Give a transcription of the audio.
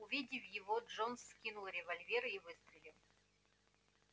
увидев его джонс вскинул револьвер и выстрелил